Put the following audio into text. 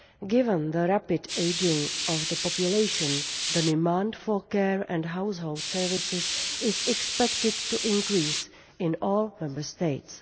Given the rapid ageing of the population, the demand for care and household services is expected to increase in all Member States.